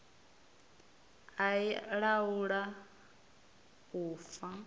a i laula u fa